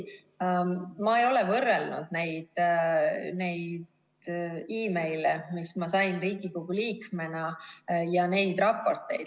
Ma ei ole võrrelnud neid meile ja raporteid, mis ma sain Riigikogu liikmena.